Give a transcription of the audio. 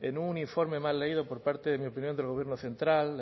en un informe mal leído por parte en mi opinión del gobierno central